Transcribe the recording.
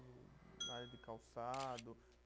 Área de calçado,